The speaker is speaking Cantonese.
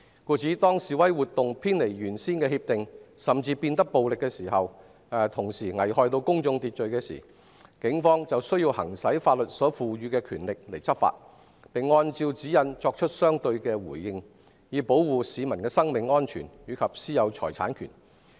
故此，當示威活動偏離原先協定，甚至變得暴力和危害公眾秩序時，警方便需要行使法律所賦予的權力執法，並按照指引作出相對的回應，以保護市民的生命安全及私有財產權。